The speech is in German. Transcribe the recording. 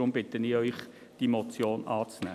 Deshalb bitte ich Sie, diese Motion anzunehmen.